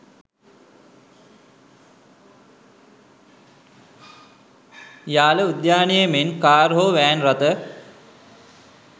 යාල උද්‍යානයේ මෙන් කාර් හෝ වෑන් රථ